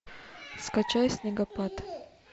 скачай снегопад